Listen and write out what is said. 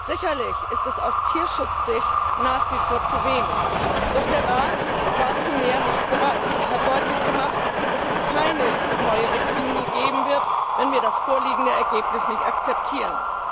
Sicherlich ist dies aus Tierschutzsicht nach wie vor zu wenig. Doch der Rat war zu mehr nicht bereit und hat deutlich gemacht, dass es keine neue Richtlinie geben wird, wenn wir das vorliegende Ergebnis nicht akzeptieren.